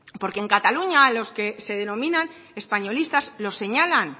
porque en cataluña a los que se denominan españolistas los señalan